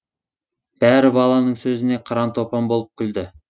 бәрі баланың сөзіне қыран топан болып күлді